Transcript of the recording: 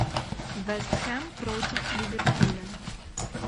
вест хэм против ливерпуля